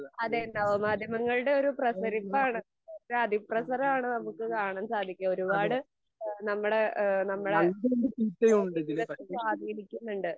അതെ നവ മാധ്യമങ്ങളുടെ ഒരു പ്രസരിപ്പാണ്, അതിപ്രസരം ആണ് നമുക്ക് കാണാൻ സാധിക്കുക. ഒരുപാട് നമ്മടെ എഹ് നമ്മുടെ ജീവിതത്തെ സ്വാധീനിക്കുന്നുണ്ട്.